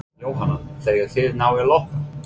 Jóhanna: Þegar þið náið að loka?